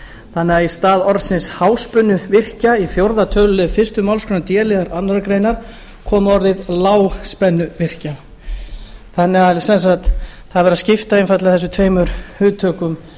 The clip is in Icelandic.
þannig að í stað orðsins háspennuvirkja í fjórða tölulið fyrstu málsgrein d liðar annarrar greinar komi orðið lágspennuvirkja þannig að sem sagt það er verið að skipta einfaldlega þessum tveimur hugtökum